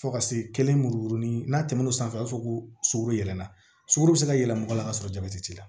Fo ka se kelen muru ni n'a tɛmɛn'o sanfɛ i b'a fɔ ko sukoro yɛlɛmana sogo bɛ se ka yɛlɛ mɔgɔ la ka sɔrɔ jabɛti